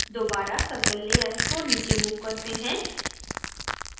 दोबारा circle layer को नीचे move करते हैं